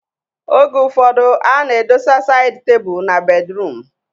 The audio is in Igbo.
Oge ụfọdụ a na-edosa saịd tebụl na bedruum